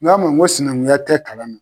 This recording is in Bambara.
N k'a ma n ko sinankunya tɛ kalan na.